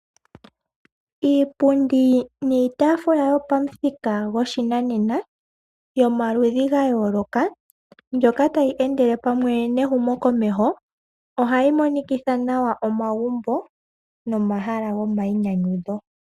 Iipundi niitaafula yopamuthika gwoshinanena yomaludhi gayooloka mbyoka tayi endele pamwe nehumo komeho. Ohayi monikitha nawa omagumbo nomahala gomainyanyudho.